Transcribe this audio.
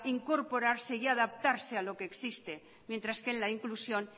incorporarse y adaptarse a lo que existe mientras que en la inclusión